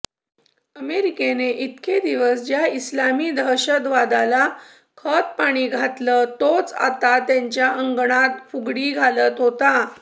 अमेरिकेने इतके दिवस ज्या इस्लामी दहशतवादाला खतपाणी घातलं तोच आता त्यांच्या अंगणात फुगडी घालत होता